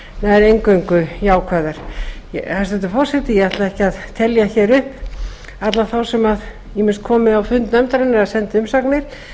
nær eingöngu jákvæðar hæstvirtur forseti ég ætla ekki að telja hér upp alla þá sem ýmist komu á fund nefndarinnar eða sendu umsagnir